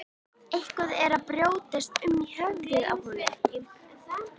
Eitthvað er að brjótast um í höfðinu á honum.